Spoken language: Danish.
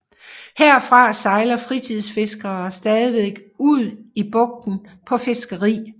Herfra sejler fritidsfiskere stadig ud i bugten på fiskeri